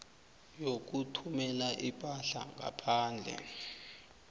yokuthumela ipahla ngaphandle